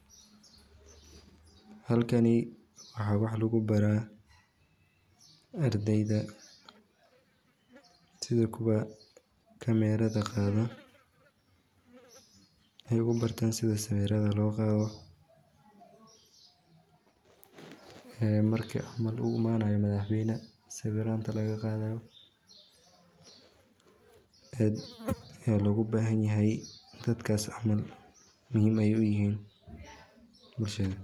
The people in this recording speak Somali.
Halkani waxa wax lugu baraa ardeyda sidi kuwa kameerada qaada, waxay kubartan sida sawiirada loo qaado ee marki camal uu imaanayo madax weyna sawiiranta laga qaadayo ,aad aa logu bahan yahay dadkas camal muhiim ayay uyihin bulshada